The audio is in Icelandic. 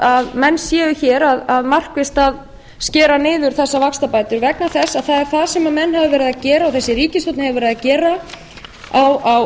að menn séu hér markvisst að skera niður þessar vaxtabætur vegna þess að það er það sem menn hafa verið að gera og þessi ríkisstjórn hefur verið að gera á